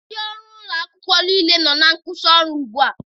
Ndị ọrụ agụmakwụkwọ niile nọ na nkwusi ọrụ gbu a.